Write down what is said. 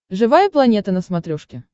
живая планета на смотрешке